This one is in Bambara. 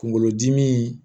Kunkolodimi